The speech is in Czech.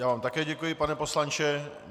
Já vám také děkuji, pane poslanče.